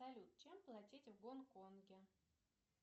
салют чем платить в гонконге